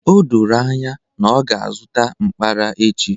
O doro anya na ọ ga-azụta mkpara echi